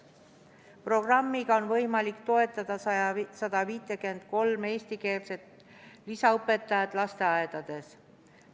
Programmiga on võimalik toetada 153 eestikeelset lisaõpetajat lasteaedades.